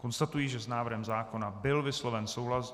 Konstatuji, že s návrhem zákona byl vysloven souhlas.